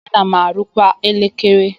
Ana m arụkwa elekere.